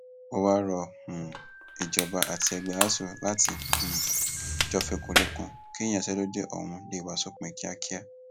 ó wáá rọ um ìjọba àti ẹgbẹ asuu láti um jó fikùnlukùn kí ìyanṣẹlódì ọhún lè wá sópin kíákíá